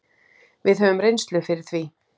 Við höfum reynslu fyrir því.